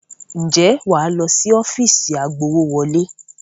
Ǹjẹ́ wà á lọ sí ọ́fíìsì agbowówọlé?